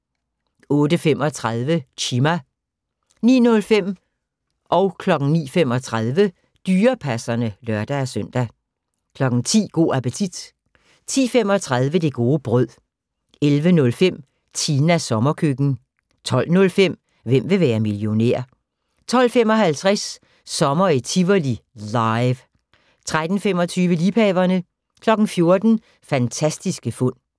08:35: Chima 09:05: Dyrepasserne (lør-søn) 09:35: Dyrepasserne (lør-søn) 10:00: Go' appetit 10:35: Det gode brød 11:05: Tinas sommerkøkken 12:05: Hvem vil være millionær? 12:55: Sommer i Tivoli – LIVE 13:25: Liebhaverne 14:00: Fantastiske fund